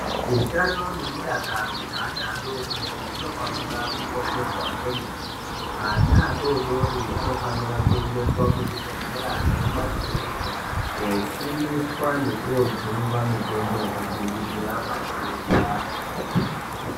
Utano nemudakaro zveana adodori zvinofanira kukosheswa kwemene. Ana adodori anofanira kuendeswa kuzvibhedhlera nekuma kiriniki kofundiswa nekojungwa mitombo yekudziirira matenda.